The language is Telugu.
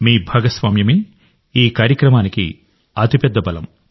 మీ భాగస్వామ్యమే ఈ కార్యక్రమానికి అతిపెద్ద బలం